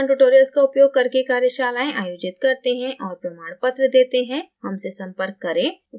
हम spoken tutorials उपयोग करके कार्यशालाएं आयोजित करते हैं और प्रमाणपत्र देते हैं हमसे संपर्क करें